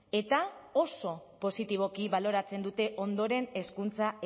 eta oso positiboki baloratzen dute ondoren hezkuntza